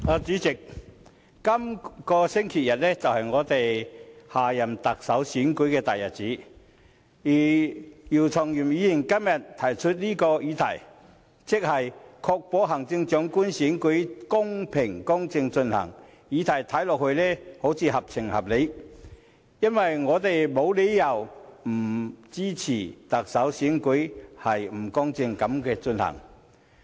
代理主席，今個星期日是我們選舉下任特首的大日子，而姚松炎議員今天提出這項"確保行政長官選舉公正進行"的議案，似乎合情合理，因為我們沒有理由不支持特首選舉公正地進行。